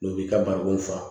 N'u b'i ka barikon fa